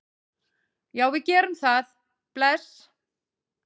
Já, við gerum það. Bless.